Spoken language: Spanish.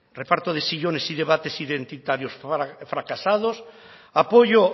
reparto de sillones y debates identitarios fracasados apoyo